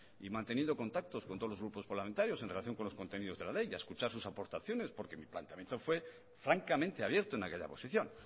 y manteniendo contactos con todos los grupos parlamentarios en relación con los contenidos de la ley y a escuchar sus aportaciones porque mi planteamiento fue francamente abierto en aquella posición